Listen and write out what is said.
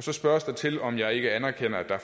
så spørges der til om jeg ikke anerkender at der er